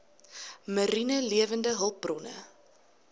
mariene lewende hulpbronne